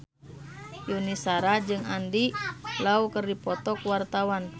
Yuni Shara jeung Andy Lau keur dipoto ku wartawan